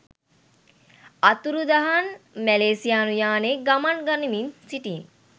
අතුරුදහන් මැලේසියානු යානයේ ගමන් ගනිමින් සිටි